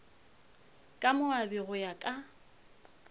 ka moabi go ya ka